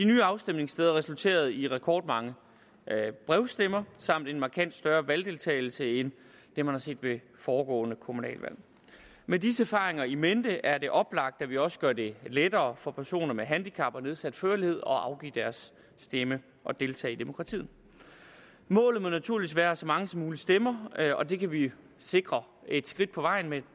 nye afstemningssteder resulterede i rekordmange brevstemmer samt en markant større valgdeltagelse end det man har set ved foregående kommunalvalg med disse erfaringer i mente er det oplagt at vi også gør det lettere for personer med handicap og nedsat førlighed at afgive deres stemme og deltage i demokratiet målet må naturligvis være at så mange som muligt stemmer og det kan vi jo sikre et skridt på vejen med